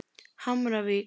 Hamravík